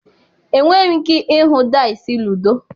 Enweghị m ike ịhụ dice ludo.